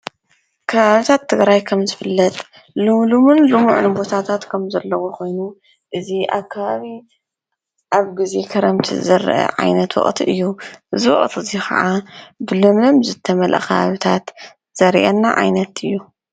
ከባቢታት ትግራይ ከምቲ ዝፍለጥ ልሙሉሙን ልሙዑን ቦታታትከም ዘለዎ ዝፍለጥ ኮይኑ ኣብ ግዜ ክረምቲ ዝረኣ ዓይነት ወቅቲ እዩ። እዚ ወቅቲ እዚ ከዓ ብለምለም ዝተመለኣ ከባቢታት ዘሪአና ዓይነት እዩ።